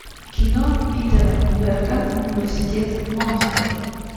кино питера берга университет монстров